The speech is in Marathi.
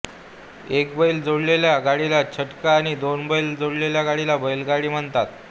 एक बैल जोडलेल्या गाडीला छकडा आणि दोन बैलांच्या गाडीला बैलगाडी म्हणतात